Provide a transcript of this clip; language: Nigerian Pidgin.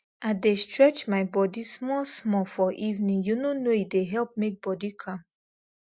i dey stretch my body small small for evening you know know e dey help make body calm